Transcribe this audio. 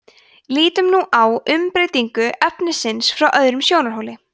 lítum nú á umbreytingu efnisins frá öðrum sjónarhóli